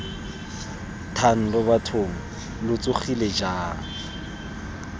thando bathong lo tsogile jang